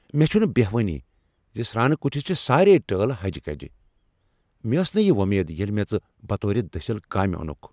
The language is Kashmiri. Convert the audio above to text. مےٚ چُھنہٕ بہوٲنٕے ز سرٛانہٕ کُٹِھس چھےٚ سارییہ ہجہِ كٕجہِ ۔ مےٚ ٲس نہٕ یہ وۄمید ییٚلہ مےٚ ژٕ بطور دٔسِل کامہ اوٚنکھ ۔